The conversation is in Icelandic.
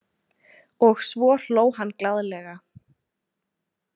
Og svo hló hann glaðlega.